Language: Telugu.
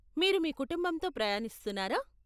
మీరు మీ కుటుంబంతో ప్రయాణిస్తున్నారా?